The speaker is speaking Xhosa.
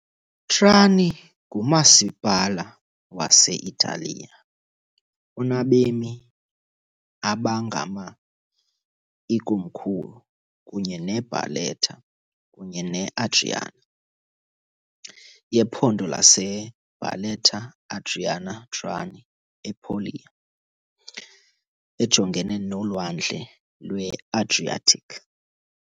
Trani ngumasipala wase-Italiya onabemi abangama , ikomkhulu, kunye ne- Barletta kunye ne- Andria, yephondo lase-Barletta-Andria-Trani e- Puglia, ejongene noLwandle lwe-Adriatic .